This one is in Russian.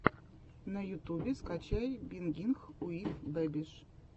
на ютубе скачай бингинг уив бэбиш